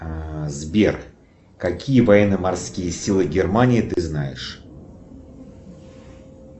сбер какие военно морские силы германии ты знаешь